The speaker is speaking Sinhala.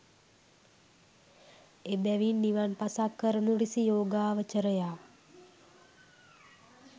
එබැවින් නිවන් පසක් කරනු රිසි යෝගාවචරයා